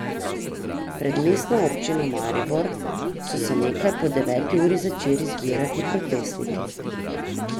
Pred Mestno občino Maribor so se nekaj po deveti uri začeli zbirati protestniki.